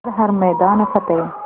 कर हर मैदान फ़तेह